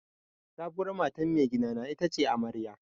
Sabuwar matan maigida ita ce amarya.